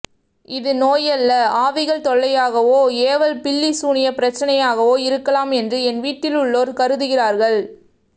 இது நோய்யல்ல ஆவிகள் தொல்லையாகவோ ஏவல் பில்லி சூனிய பிரச்சனையாகவோ இருக்கலாம் என்று என் வீட்டில் உள்ளோர் கருதுகிறார்கள்